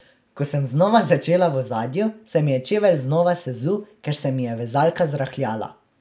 Ko sem znova začela v ozadju, se mi je čevelj znova sezul, ker se mi je vezalka zrahljala.